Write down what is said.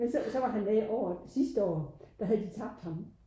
Men så så var han med året sidste år der havde de tabt ham